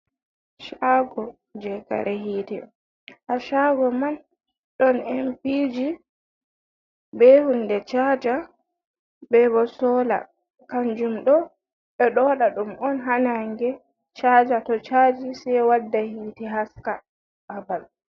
Shaago je kare hite. Haa shago man ɗon empiji, be hunde chaaja, be bo sola. Kanjum ɗo ɓe ɗo waɗa ɗum on haa naange chaaja, to chaji sei wadda hite, haska babal.